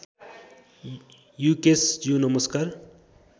युकेशज्यू नमस्कार